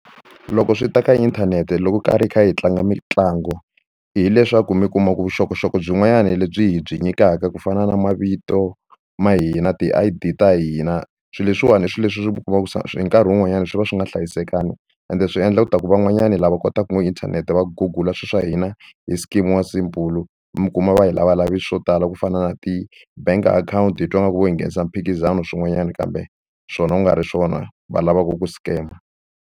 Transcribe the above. Loko swi ta ka inthanete loko karhi hi kha hi tlanga mitlangu hileswaku mi kuma ku vuxokoxoko byin'wana lebyi hi byi nyikaka ku fana na mavito ma hina ti-I_D ta hina swilo leswiwani i swilo leswi u kumaka sa hi nkarhi wun'wanyani swi va swi nga hlayisekanga ende swi endla ku ta ku van'wanyani lava kotaka ku ngopfu inthanete va gugula swilo swa hina hi scam-iwa mi kuma va hi lavalave swilo swo tala ku fana na ti-bank akhawunti hi twa ngaku vo hi nghenisa mphikizano swin'wanyana kambe swona ku nga ri swona va lava ku ku scam-a.